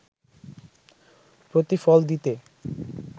প্রতিফল দিতে